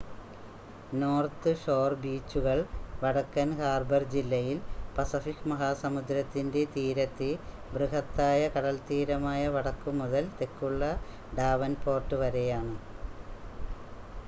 north shore ബീച്ചുകൾ വടക്കൻ harbour ജില്ലയിൽ പസഫിക് മഹാസമുദ്രത്തിന്റെ തീരത്തെ ബൃഹത്താ‍യ കടൽത്തീരമായ വടക്കുമുതൽ തെക്കുള്ള ഡാവൻ‌പോർട്ട് വരെയാണ്